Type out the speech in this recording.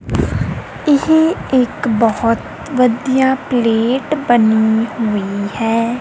ਇਹ ਇੱਕ ਬਹੁਤ ਵਧੀਆ ਪਲੇਟ ਬਣੀ ਹੋਈ ਹੈ।